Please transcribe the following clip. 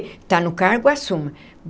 Está no cargo, assuma.